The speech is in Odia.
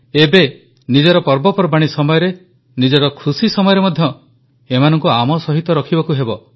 ଏବେ ନିଜ ପର୍ବପର୍ବାଣୀ ସମୟରେ ନିଜର ଖୁସି ସମୟରେ ମଧ୍ୟ ଏମାନଙ୍କୁ ଆମ ସହିତ ରଖିବାକୁ ହେବ